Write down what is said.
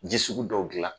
Ji sugu dɔw dilan